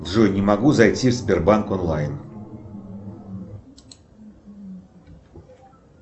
джой не могу зайти в сбербанк онлайн